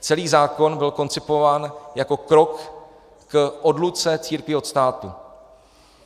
Celý zákon byl koncipován jako krok k odluce církví od státu.